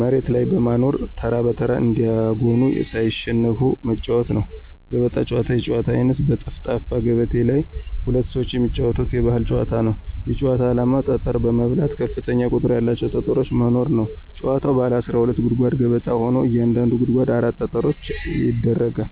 መሬት ላይ በማኖር ተራ በተራ እያጎኑ ሳይሸነፉ መጫዎት ነው። ገበጣ ጨዋታ የጨዋታ አይነት በጠፍጣፋ ገበቴ ላይ ሁለት ሰዎች የሚጫወቱት የባህል ጨዋታ ነው። የጭዋታው አላማ ጠጠሮች በመብላት ከፍተኛ ቁጥር ያላቸውን ጠጠሮች መኖር ነው። ጭዋታዉ ባለ 12 ጉድጓድ ገበጣ ሆኖ እያንዳንዱ ጉድጓድ 4 ጠጠሮች ይደረጋሉ።